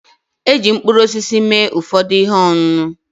Eji mkpụrụosisi mee ụfọdụ ihe ọṅụṅụ